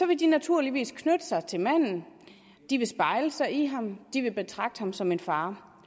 vil de naturligvis knytte sig til manden de vil spejle sig i ham de vil betragte ham som en far